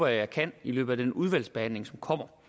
jeg kan i løbet af den udvalgsbehandling som kommer